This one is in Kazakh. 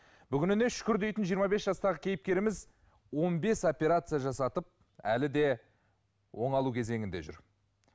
бүгініне шүкір дейтін жиырма бес жастағы кейіпкеріміз он бес операция жасатып әлі де оңалу кезеңінде жүр